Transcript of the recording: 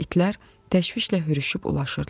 İtlər təşvişlə hürüşüb ulaşırdılar.